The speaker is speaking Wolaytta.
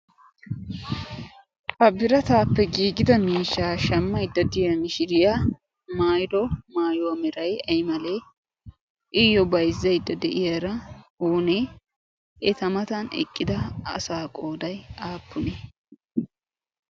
habirataappe giigida miishshaa shammay daddiya mishiriyaa mairo maayoamirai aymalee iyyo bayzzayddo de'iyaara oonee eta matan eqqida asa qooday aappunee?